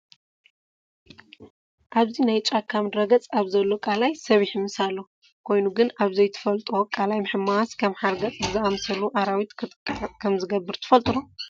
ኣብዚ ናይ ጫካ ምድረ ገፅ ኣብ ዘሎ ቀላይ ሰብ ይሕምስ ኣሎ፡፡ ኮይኑ ግን ኣብ ዘይትፈልጡ ቀላይ ምሕማስ ከም ሓርገፅ ብዝኣምሰሉ ኣራዊት ክትጥቃዕ ከምዝገብር ትፈልጡ ዶ?